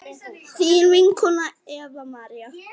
þín vinkona Eva María.